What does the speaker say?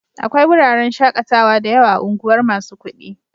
Akwai wuraren shaƙatawa da yawa a unguwar masu kuɗi.